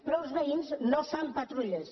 però els veïns no fan patrulles